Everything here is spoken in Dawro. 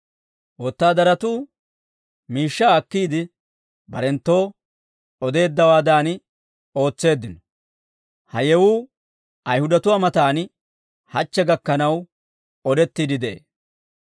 Wotaadaratuu miishshaa akkiide, barenttoo odeeddawaadan ootseeddino. Ha yewuu Ayihudatuwaa mataan hachche gakkanaw, odettiidde de'ee.